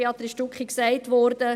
Béatrice Stucki hat sie erwähnt.